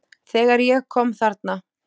Þegar ég kom þarna